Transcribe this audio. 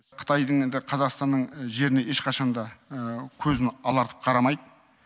қытайдың енді қазақстанның жеріне ешқашан да көзін алартып қарамайды